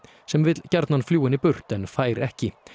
sem vill gjarnan fljúga henni burt en fær ekki